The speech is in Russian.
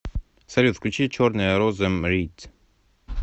салют включи черная роза мрид